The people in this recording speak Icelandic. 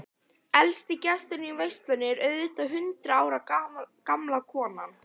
Elsti gesturinn í veislunni er auðvitað hundrað ára gamla konan.